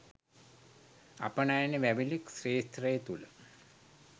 අපනයන වැවිලි ක්ෂේත්‍රය තුළ